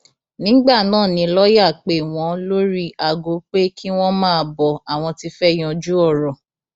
nígbà náà ni lọọyà pè wọn lórí aago pé kí wọn máa bọ ọ àwọn ti fẹẹ yanjú ọrọ